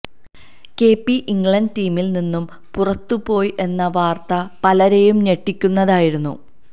K P England ടീമില് നിന്നും പുറത്തുപോയി എന്ന വാര്ത്ത പലരെയും ഞെട്ടിക്കുന്നതായിരുന്നു